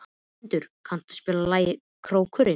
Hermundur, kanntu að spila lagið „Krókurinn“?